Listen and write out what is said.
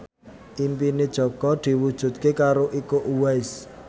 impine Jaka diwujudke karo Iko Uwais